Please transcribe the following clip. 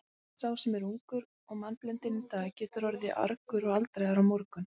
Sá sem er ungur og mannblendinn í dag getur orðið argur og aldraður á morgun.